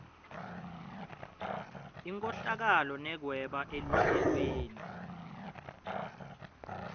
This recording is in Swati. inkhohlakalo nekweba eluhlelweni